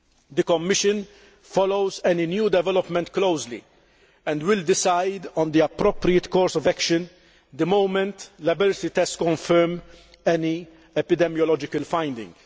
The Commission follows any new development closely, and will decide on the appropriate course of action the moment laboratory tests confirm any epidemiological finding.